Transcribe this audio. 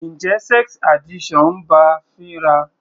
Njẹ́ sex addiction ń bá a fínra?